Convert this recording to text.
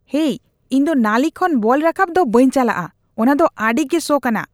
ᱦᱮᱭ, ᱤᱧ ᱫᱚ ᱱᱟᱹᱞᱤ ᱠᱷᱚᱱ ᱵᱚᱞ ᱨᱟᱠᱟᱵ ᱫᱚ ᱵᱟᱹᱧ ᱪᱟᱞᱟᱜ ᱠᱟᱱᱟ ᱾ ᱚᱱᱟ ᱫᱚ ᱟᱹᱰᱤᱜᱮ ᱥᱚ ᱠᱟᱱᱟ ᱾